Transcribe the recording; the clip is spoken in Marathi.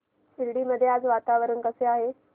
शिर्डी मध्ये आज वातावरण कसे आहे